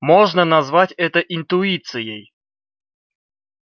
можно назвать это интуицией